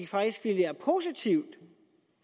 faktisk ville være positivt